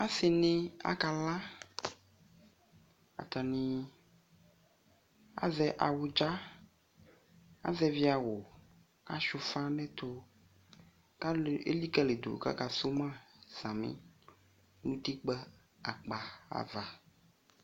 Asini akala atani azɛ awudza azɛvi awu achua ufa nu ɛtu kalu elikalimadu kaka su ma sami nu utikpa akpa ava